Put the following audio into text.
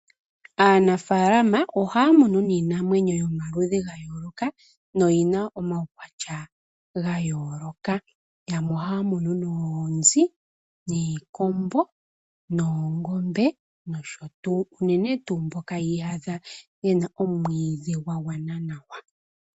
Aanafaalama ohaya munu niinamwenyo yayooloka yo oyina omaukwatya gayooloka. Yamwe ohaya munu noonzi, niikombo noongombe nosho tuu, unene tuu mboka yiiyadha yena omwiidhi gwa gwana nawa.